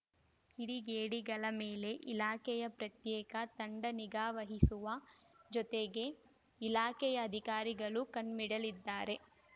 ಕಿಡಿಗೇಡಿಗಳ ಮೇಲೆ ಇಲಾಖೆಯ ಪ್ರತ್ಯೇಕ ತಂಡ ನಿಗಾವಹಿಸುವ ಜೊತೆಗೆ ಇಲಾಖೆಯ ಅಧಿಕಾರಿಗಳೂ ಕಣ್ಣಿಡಲಿದ್ದಾರೆ